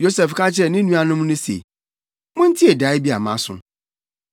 Yosef ka kyerɛɛ ne nuanom no se, “Muntie dae bi a maso.